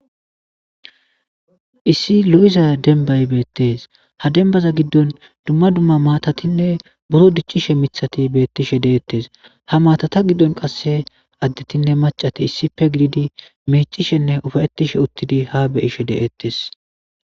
Issi lo'iza denbay betese ha debaza gidon dumma dumma matatinne buro dicishe mithati betishe detese ha maatata gidon qase adetinne macati issippe gididi micishenne ufayetishe utidi ha be'ishe detese